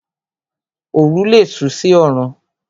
Oru lé sú sí orùn